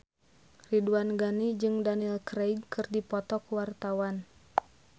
Ridwan Ghani jeung Daniel Craig keur dipoto ku wartawan